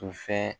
To fɛn